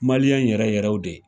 yɛrɛ yɛrɛw de